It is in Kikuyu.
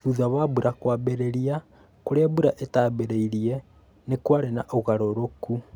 Thutha wa mbura kwambi͂ri͂ra, ku͂ri͂a mbura itaambi͂ri͂irie ni kwari͂ na u͂garu͂ru͂ku.